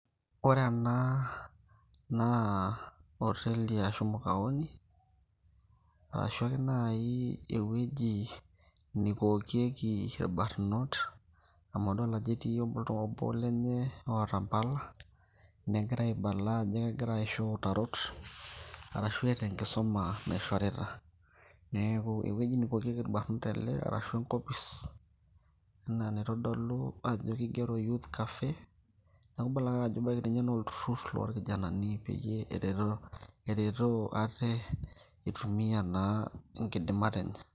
Ore ena naa oteli ashu mukaoni, arashu ake nai ewueji neikokieki irbanot, amu adol ajo etii obo lenye oota mpala, negira aibala ajo kegira aisho utarot, arashu eeta enkisuma naishorita. Neeku ewueji neikokieki irbanot ele, ashu enkopis, enaa enaitodolu ajo kigero youth curfew, neeku ibala ake ajo ebaki na olturrur lorkijanani, peyie eretoo ate itumia naa inkidimat enye.